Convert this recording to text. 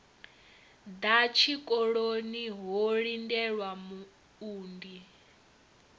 ḓa tshikoloni ho lindelwa muunḓi